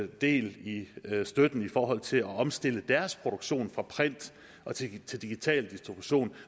del i støtten i forhold til at omstille deres produktion fra print til digital distribution